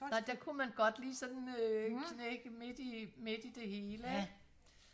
der kunne man godt lige sådan øh knække midt i midt i det hele ikke